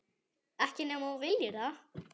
Ekki nema þú viljir það.